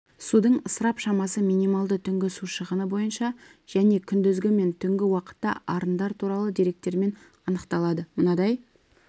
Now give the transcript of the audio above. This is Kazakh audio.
судың ысырап шамасы минималды түнгі су шығыны бойынша және күндізгі мен түнгі уақытта арындар туралы деректермен анықталады мынадай